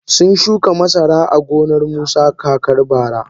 Sun shuka masara a gonar musa kakar bara.